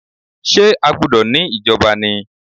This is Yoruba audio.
Ṣé a gbúdọ̀ ní ìjọba ni?